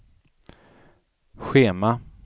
schema